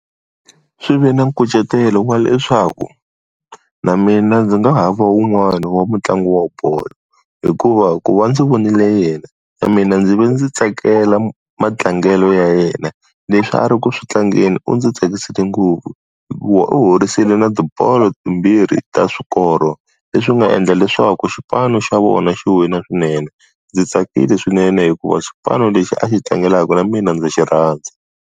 Swi ve na nkucetelo wa leswaku, na mina ndzi nga hava wun'wani wa mutlangi wa bolo. Hikuva ku va ndzi vonile yena na mina ndzi ve ndzi tsakela matlangelo ya yena. Leswi a ri ku tlangeni u ndzi tsakisile ngopfu hikuva u howisile na tibolo timbirhi ta swikoro. leswi nga endla leswaku xipano xa vona xi wina swinene. Ndzi tsakile swinene hikuva xipano lexi a xi tlangelaka na mina ndzi xi rhandza.